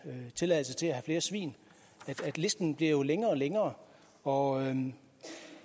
en tilladelse til at flere svin listen bliver jo længere og længere og